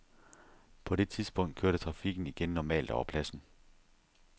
På det tidspunkt kørte trafikken igen normalt over pladsen.